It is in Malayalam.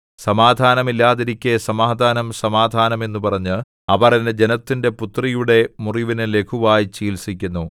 സമാധാനം ഇല്ലാതിരിക്കെ സമാധാനം സമാധാനം എന്നു പറഞ്ഞ് അവർ എന്റെ ജനത്തിന്റെ പുത്രിയുടെ മുറിവിനു ലഘുവായി ചികിത്സിക്കുന്നു